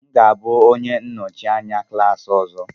M ga-abụ onye nnọchi anya klas ọzọ.